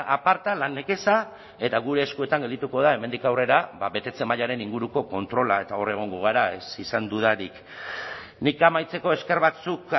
aparta lan nekeza eta gure eskuetan geldituko da hemendik aurrera betetze mailaren inguruko kontrola eta hor egongo gara ez izan dudarik nik amaitzeko esker batzuk